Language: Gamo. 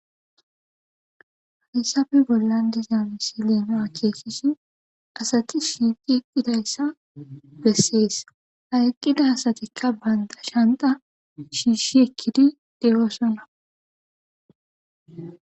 haysabe bollan diza misi leema a keesisi asati shiiqi eqqidayssa bessees hayqqida asatikka baynda shanta shiishi ekkidi dewoosona